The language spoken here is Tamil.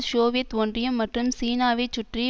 சோவியத் ஒன்றியம் மற்றும் சீனாவை சுற்றி